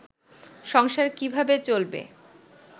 সংসার কীভাবে চলবে